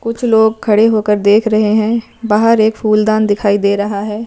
कुछ लोग खड़े होकर देख रहे है बाहर एक फूलदान दिखाई दे रहा है।